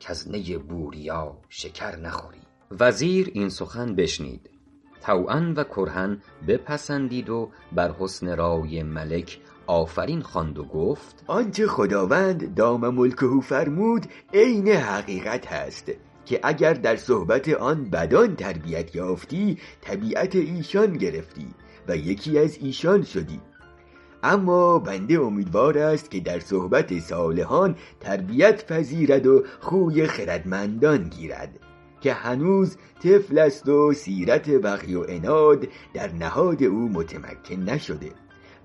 کز نی بوریا شکر نخوری وزیر این سخن بشنید طوعا و کرها بپسندید و بر حسن رای ملک آفرین خواند و گفت آنچه خداوند دام ملکه فرمود عین حقیقت است که اگر در صحبت آن بدان تربیت یافتی طبیعت ایشان گرفتی و یکی از ایشان شدی اما بنده امیدوار است که در صحبت صالحان تربیت پذیرد و خوی خردمندان گیرد که هنوز طفل است و سیرت بغی و عناد در نهاد او متمکن نشده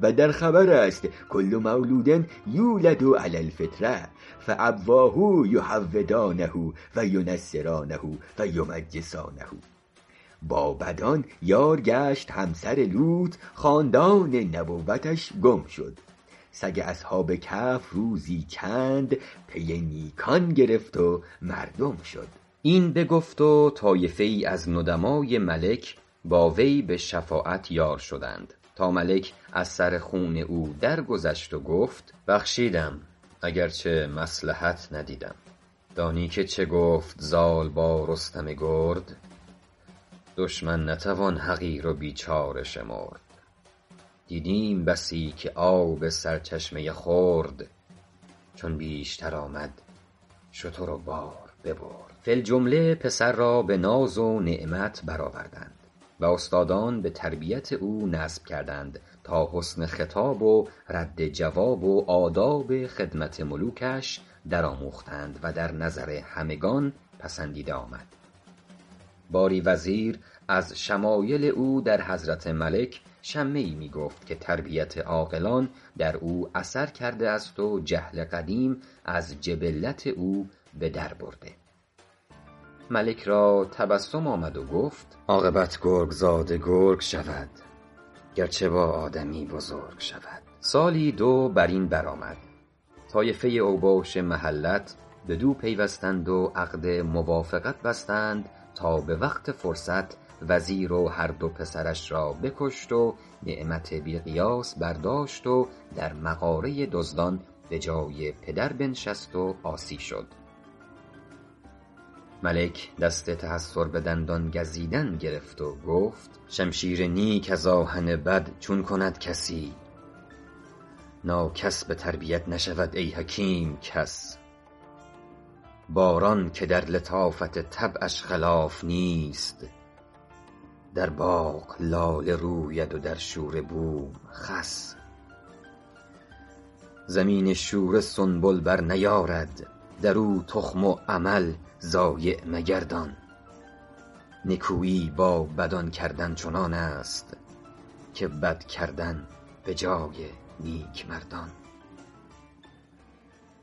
و در خبر است کل مولود یولد علی الفطرة فأبواه یهودانه و ینصرانه و یمجسانه با بدان یار گشت همسر لوط خاندان نبوتش گم شد سگ اصحاب کهف روزی چند پی نیکان گرفت و مردم شد این بگفت و طایفه ای از ندمای ملک با وی به شفاعت یار شدند تا ملک از سر خون او درگذشت و گفت بخشیدم اگرچه مصلحت ندیدم دانی که چه گفت زال با رستم گرد دشمن نتوان حقیر و بیچاره شمرد دیدیم بسی که آب سرچشمه خرد چون بیشتر آمد شتر و بار ببرد فی الجمله پسر را به ناز و نعمت بر آوردند و استادان به تربیت او نصب کردند تا حسن خطاب و رد جواب و آداب خدمت ملوکش در آموختند و در نظر همگنان پسندیده آمد باری وزیر از شمایل او در حضرت ملک شمه ای می گفت که تربیت عاقلان در او اثر کرده است و جهل قدیم از جبلت او به در برده ملک را تبسم آمد و گفت عاقبت گرگ زاده گرگ شود گرچه با آدمی بزرگ شود سالی دو بر این بر آمد طایفه اوباش محلت بدو پیوستند و عقد موافقت بستند تا به وقت فرصت وزیر و هر دو پسرش را بکشت و نعمت بی قیاس برداشت و در مغاره دزدان به جای پدر بنشست و عاصی شد ملک دست تحیر به دندان گزیدن گرفت و گفت شمشیر نیک از آهن بد چون کند کسی ناکس به تربیت نشود ای حکیم کس باران که در لطافت طبعش خلاف نیست در باغ لاله روید و در شوره بوم خس زمین شوره سنبل بر نیارد در او تخم و عمل ضایع مگردان نکویی با بدان کردن چنان است که بد کردن به جای نیک مردان